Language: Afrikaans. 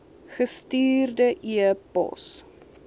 gestuurde e pos